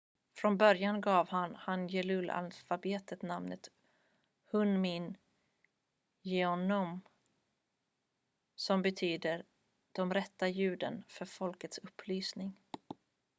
"från början gav han hangeul-alfabetet namnet hunmin jeongeum som betyder "de rätta ljuden för folkets upplysning"".